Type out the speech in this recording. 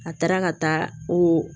A taara ka taa o